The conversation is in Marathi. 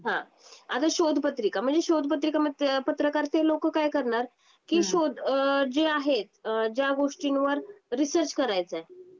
हा, आता शोधपत्रिका म्हणजे शोध पत्रिका पत्रकार ते लोक काय करणार की शोध जे आहेत ज्या गोष्टींवर रिसर्च करायचाय.